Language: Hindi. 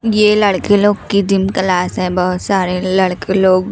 ये लड़के लोग क्लास है। बहोत सारे लड़के लोग--